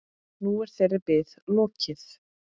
Nú er þeirri bið lokið.